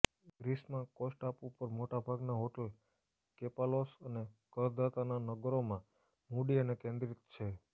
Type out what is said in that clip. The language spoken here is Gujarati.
ગ્રીસમાં કોસ ટાપુ પર મોટા ભાગના હોટલ કેપાલોસ અને કરદાનાના નગરોમાં મૂડી અને કેન્દ્રિત છે